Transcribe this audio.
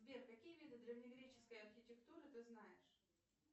сбер какие виды древнегреческой архитектуры ты знаешь